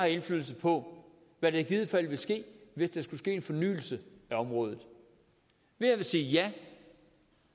indflydelse på hvad der i givet fald vil ske hvis der skulle ske en fornyelse på området ved at sige ja